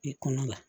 I kɔnɔ la